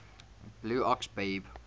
blue ox babe